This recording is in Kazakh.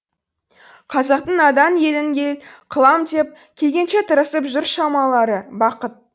қазақтың надан елін ел қылам деп келгенше тырысып жүр шамалары бақыт